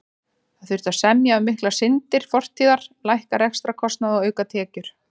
Það þurfti að semja um miklar syndir fortíðar, lækka rekstrarkostnað og auka tekjur.